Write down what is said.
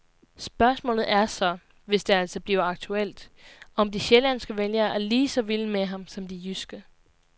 Spørgsmålet er så, hvis det altså bliver aktuelt, om de sjællandske vælgere er lige så vilde med ham som de jyske.